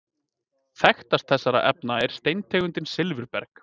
Þekktast þessara efna er steintegundin silfurberg.